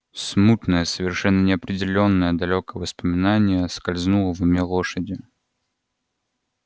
смутное совершенно неопределённое далёкое воспоминание скользнуло в уме лошади